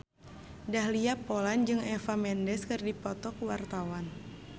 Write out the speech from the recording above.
Dahlia Poland jeung Eva Mendes keur dipoto ku wartawan